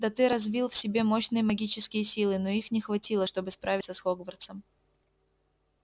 да ты развил в себе мощные магические силы но их не хватило чтобы справиться с хогвартсом